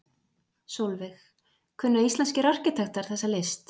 Sólveig: Kunna íslenskir arkitektar þessa list?